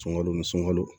Sunkalo nun sunkalo